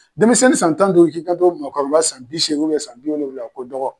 Denmisɛnnin san tan duuru k'i kan to maakɔrɔba san bi seegin san bi wolonvila ma ko dɔgɔ.